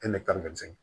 E de ka kan ka jigin